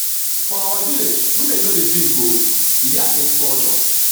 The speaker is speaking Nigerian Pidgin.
for our village women no dey drink oo e dey against culture